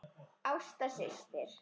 Ásta systir.